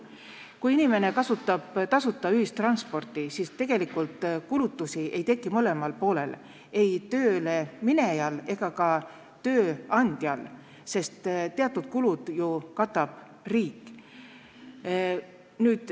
Kui inimene kasutab tasuta ühistransporti, siis tegelikult ei teki kulutusi kummalgi poolel, ei töölkäijal ega ka tööandjal, sest teatud kulud katab ju riik.